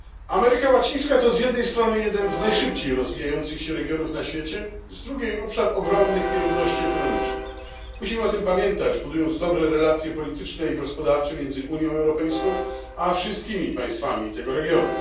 Ameryka Łacińska to z jednej strony jeden z najszybciej rozwijających się regionów na świecie, z drugiej obszar ogromnych nierówności ekonomicznych. Musimy o tym pamiętać, budując dobre relacje polityczne i gospodarcze między Unią Europejską a wszystkimi państwami tego regionu.